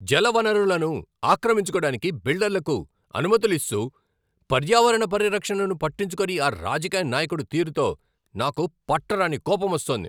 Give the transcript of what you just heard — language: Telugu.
జలవనరులను ఆక్రమించుకోడానికి బిల్డర్లకు అనుమతులు ఇస్తూ, పర్యావరణ పరిరక్షణను పట్టించుకోని ఆ రాజకీయ నాయకుడి తీరుతో నాకు పట్టరాని కోపమొస్తోంది.